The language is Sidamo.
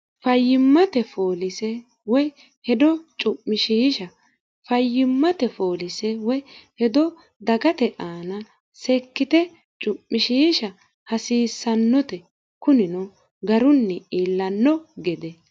fyimmtefoolisewoy hedo cu'mishiisha fayyimmate foolise woy hedo dagate aana sekkite cu'mishiisha hasiissannote kunino garunni iillanno gede